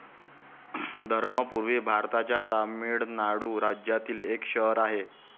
धर्मपूरी भारताच्या तामीळनाडू राज्यातील एक शहर आहे.